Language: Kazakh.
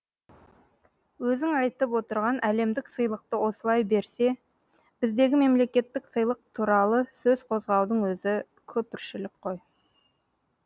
өзіңайтып отырған әлемдік сыйлықты осылай берсе біздегі мемлекеттік сыйлық туралысөз қозғаудың өзі күпіршілік қой